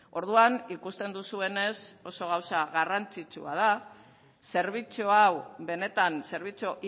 orduan ikusten duzuenez oso gauza garrantzitsua da zerbitzu hau benetan zerbitzu